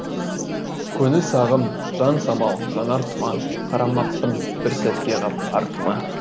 көңіл сағым жан самал жанар тұма қарамаппын бір сәтке қап артыма